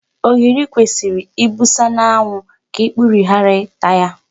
Ogiri kwesịrị ibusa n'anwụ ka ikpuru ghara ịta ya.